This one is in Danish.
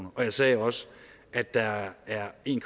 og jeg sagde også at der er en